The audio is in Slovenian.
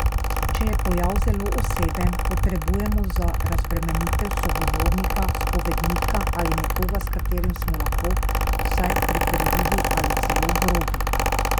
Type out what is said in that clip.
Če je pojav zelo oseben, potrebujemo za razbremenitev sogovornika, spovednika ali nekoga, s katerim smo lahko vsaj prepirljivi ali celo grobi.